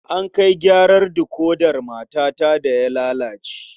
An kai gyaran dikodar matata da ya lalace.